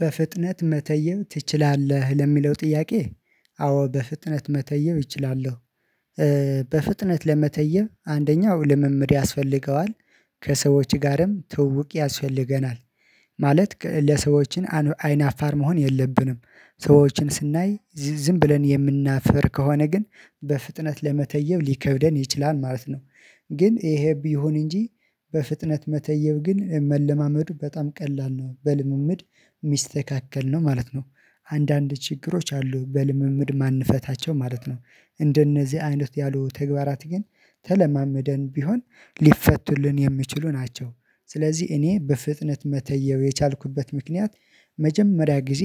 በፍጥነት መተየብ ትችላለህ ለሚለው ጥያቄ? አዎ በፍጥነት መተየም እችላለሁ። በፍጥነት ለመተየም አንደኛው ልምምድ ያስፈልገዋል። ከሰዎች ጋርም ትውውቅ ያስፈልገናል። ማለት ለሰዎችን አይን አፋር መሆን የለብንም ሰዎችን ስናይ ብለን የምናፍር ከሆነ ግን በፍጥነት ለመተየብ ሊከብደን ይችላል ማለት ነው። ግን ይሄ ቢሆን እንጂ በፍጥነት መተየብ ግን መለማመዱ በጣም ቀላል ነው በልምምድ ሚስተካከል ነው ማለት ነው። አንዳንድ ችግሮች አሉ በልምምድ ማንፈታቸው ማለት ነው። እንደነዚህ አይነት ያሉ ተግባራት ግን ተለማመደን ቢሆን ሊፈቱልን የሚችሉ ናቸው። ስለዚህ እኔ በፍጥነት መተየው የቻልኩበት ምክንያት መጀመሪያ ጊዜ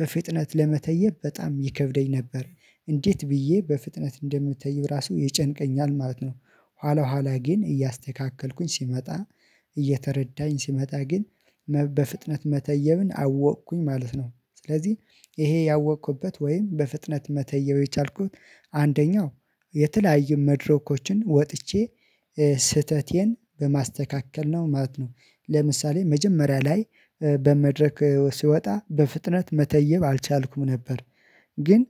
በፍጥነት ለመተየብ በጣም ይከብደኝ ነበር። እንዴት ብዬ በፍጥነት እንደምተይ ራሱ ይጨንቀኛል ማለት ነው። ኋላ ኋላ ግን እያስተካከልኩኝ ሲመጣ እየተረዳኝ ሲመጣ ግን በፍጥነት መተየብን አወቅኩኝ ማለት ነው። ስለዚህ ይሄ ያወቅኩበት ወይም በፍጥነት መተየብ የቻልኩት አንደኛው የተለያዩ መድረኮችን ወጥቼ ስህተቴን በማስተካከል ነው ማለት ነው። ለምሳሌ መጀመሪያ ላይ በመድረክ ሲወጣ በፍጥነት መተየብ አልቻልኩም ነበር። ግን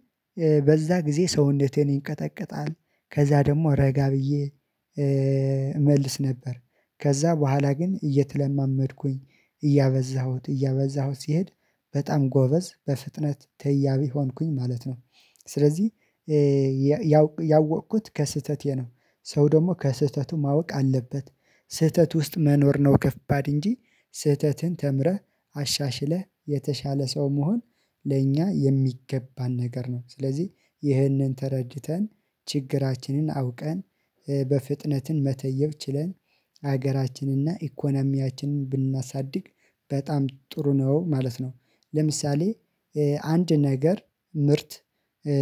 በዛ ጊዜ ሰውነቴ ይንቀጠቀጣል ከዛ ደግሞ ረጋ ብዬ እመልስ ነበር። ከዛ በኋላ ግን እየተለማመድኩኝ እያበዛሁት እያበዛሁት ሲሄድ በጣም ጎበዝ በፍጥነት ተያቢ ሆንኩኝ ማለት ነው። ስለዚህ ያወቅኩት ከስህተቴ ነው። ሰው ደግሞ ከስህተቱ ማወቅ አለበት። ስህተት ውስጥ መኖር ነው ከባድ እንጂ ስህተትን ተምረህ አሻሽለህ የተሻለ ሰው መሆን ለእኛ የሚገባን ነገር ነው። ስለዚህ ይህንን ተረድተን ችግራችንን አውቀን በፍጥነትን መተየብ ችለን ሀገራችንና ኢኮኖሚያችንን ብናሳድግ በጣም ጥሩ ነው ማለት ነው። ለምሳሌ አንድ ነገር ምርት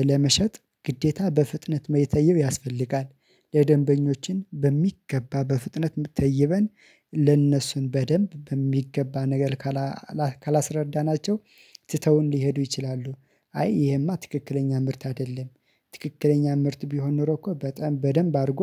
ለመሸጥ ግዴታ በፍጥነት መተየብ ያስፈልጋል። ለደንበኞችን በሚገባ በፍጥነት ተይበን ለእነሱ በደንብ በሚገባ ነገር ካላስረዳናቸው ትተውን ሊሄዱ ይችላሉ። አይ ይሄማ ትክክለኛ ምርት አይደለም። ትክክለኛ ምርት ቢሆን ኖሮ እኮ በጣም በደንብ አድርጎ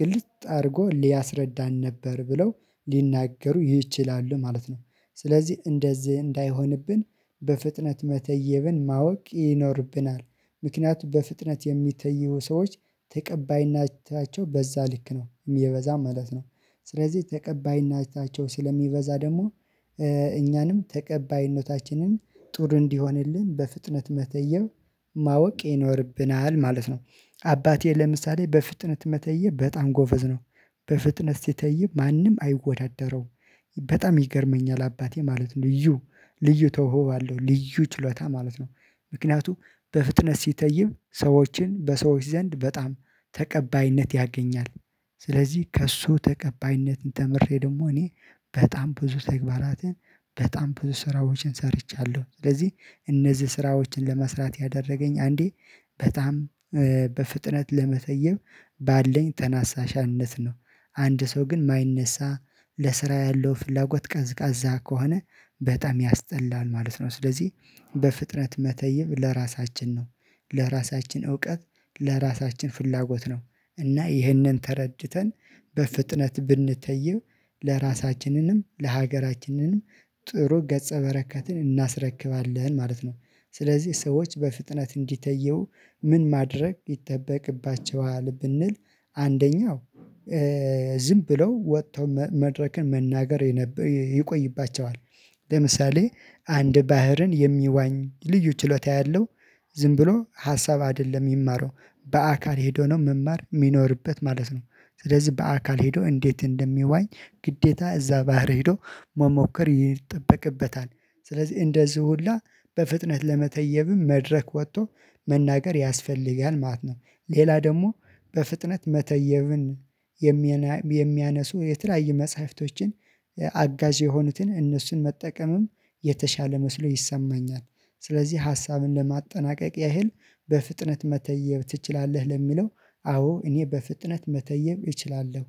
ግልጽ አድርጎ ሊያስረዳን ነበር ብለው ሊናገሩ ይችላሉ ማለት ነው። ስለዚህ እንደዚህ እንዳይሆንብን በፍጥነት መተየብን ማወቅ ይኖርብናል። ምክንያቱም በፍጥነት የሚተይቡ ሰዎች እጅታቸው በዛ ልክ ነው የበዛም ማለት ነው። ስለዚህ ተቀባይና እጅታቸው ስለሚበዛ ደግሞ እኛንም ተቀባይነታችንን ጥሩ እንዲሆንልን በፍጥነት መተየብ ማወቅ ይኖርብናል ማለት ነው። አባቴ ለምሳሌ በፍጥነት መተይብ በጣም ጎበዝ ነው። በፍጥነት ሲተይ ማንም አይወዳደረውም በጣም ይገርመኛል አባቴ ማለት ነው ልዩ ልዩ ተውሆ አለው ልዩ ችሎታ ማለት ነው። ምክንያቱም በፍጥነት ሲተይም ሰዎችን በሰዎች ዘንድ በጣም ተቀባይነት ያገኛል። ስለዚህ ከእሱ ተቀባይነትን ተምሬ ደግሞ እኔ በጣም ብዙ ተግባራትን በጣም ብዙ ስራዎችን ሰርቻለሁ። ስለዚህ እነዚህ ስራዎችን ለመስራት ያደረገኝ አንዴ በጣም በፍጥነት ለመተየብ ባለን ተናሳሻነት ነው። አንድ ሰው ግን የማይነሳ ለስራ ያለው ፍላጎት ቀዝቃዛ ከሆነ በጣም ያስጠላል ማለት ነው። ስለዚህ በፍጥነት መተይብ ለራሳችን ነው። ለራሳችን እውቀት ለራሳችን ፍላጎት ነው። እና ይህንን ተረድተን በፍጥነት ብንተይብ ለራሳችንንም ለሀገራችንንም ጥሩ ገጸ በረካትን እናስረክባለን ማለት ነው። ስለዚህ ሰዎች በፍጥነት እንዲተየው ምን ማድረግ ይጠበቅባቸዋል ብንል አንደኛው ዝም ብለው ወጥተው መድረክን መናገር ይቆይባቸዋል። ለምሳሌ አንድ ባህርን የሚዋኝ ልዩ ችሎታ ያለው ዝም ብሎ ሀሳብ አይደለም የሚማረው። በአካል ሄዶ ነው መማር የሚኖርበት ማለት ነው። ስለዚህ በአካል ሄዶ እንዴት እንደሚዋኝ ግዴታ እዛ ባህር ሄዶ መሞከር ይጠበቅበታል። ስለዚህ እንደዚህ ሁላ በፍጥነት ለመተየብም መድረክ ወጥቶ መናገር ያስፈልጋል ማለት ነው። ሌላ ደግሞ በፍጥነት መተየብን የሚያነሱ የተለያዩ መጽሐፍቶችን አጋዥ የሆኑትን እነሱን መጠቀምም የተሻለ መስሎ ይሰማኛል። ስለዚህ ሀሳብን ለማጠናቀቅ ያህል በፍጥነት መተየብ ትችላለህ ለሚለው? አዎ እኔ በፍጥነት መተየም እችላለሁ።